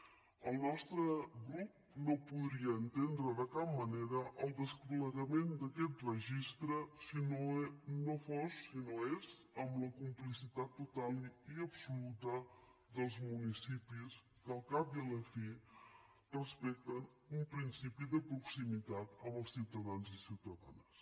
el nostre grup no podria entendre de cap manera el desplegament d’aquest registre si no fos si no és amb la complicitat total i absoluta dels municipis que al cap i a la fi respecten un principi de proximitat amb els ciutadans i ciutadanes